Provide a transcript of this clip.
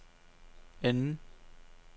anden